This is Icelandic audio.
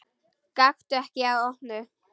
Gakktu ekki að opinu.